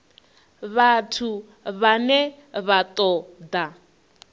vhathu vhane vha ṱo ḓa